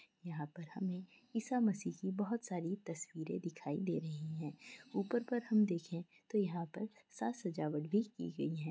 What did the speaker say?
यहाँ पर हमें ईसा मसीह की बहुत सारी तस्वीरे दिखाई दे रही है ऊपर पर हम देखें तो यहाँ पर साथ सजावट भी की गई है।